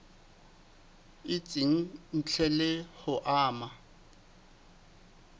itseng ntle le ho ama